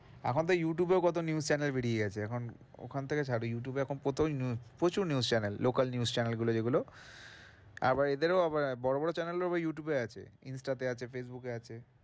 এখন তো ইউটিউবেও তো কত news channel বেরিয়ে গেছে, এখন ওখান থেকে ছাড় ইউটিউব এখন প্রচুর news channel, local news channel গুলো যেইগুলো আবার এদেরও আবার বড়ো বড়ো channel এর ও আবার ইউটিউব আছে, ইন্সটাতে আছে, ফেইসবুকে আছে।